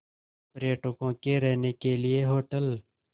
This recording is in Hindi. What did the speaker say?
पर्यटकों के रहने के लिए होटल